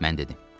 Mən dedim.